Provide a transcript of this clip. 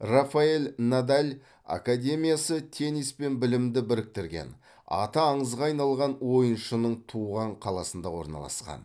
рафаэль надаль академиясы теннис пен білімді біріктірген аты аңызға айналған ойыншының туған қаласында орналасқан